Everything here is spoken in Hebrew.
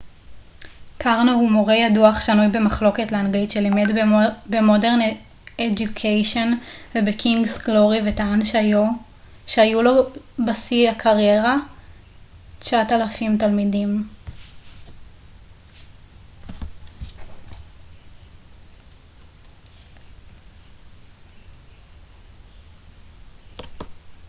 קרנו הוא מורה ידוע אך שנוי במחלוקת לאנגלית שלימד במודרן אדיוקיישן ובקינגס גלורי וטען שהיו לבשיא הקריירה ו 9,000 תלמידים